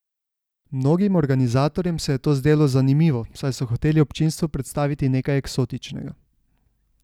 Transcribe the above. Mnogim organizatorjem se je to zdelo zanimivo, saj so hoteli občinstvu predstaviti nekaj eksotičnega.